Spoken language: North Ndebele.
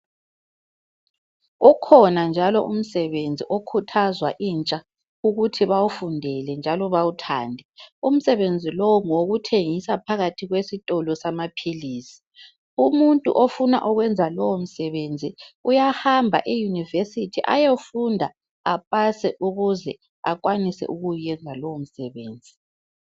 Ukhona njalo umsebenzi okhuthazwa intsha, ukuthi bawufundele njalo bawuthande. Umsebenzi lowo ngowokuthengisa phakathi kwesitolo samaphilisi. Umuntu ofuna ukwenza lowo msebenzi uyahamba eyunivesithi ayefunda apase ukuze ukwanise ukuwuyenza lowo musebenzi.